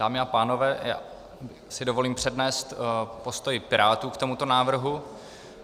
Dámy a pánové, já si dovolím přednést postoj Pirátů k tomuto návrhu.